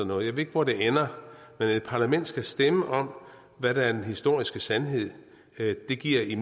noget jeg ved ikke hvor det ender men at et parlament skal stemme om hvad der er den historiske sandhed giver i